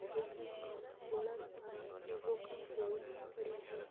बीके मायने बोला सारा विवो का फोन पडया है।